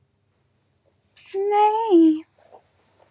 Það kemur aðeins eitt til greina.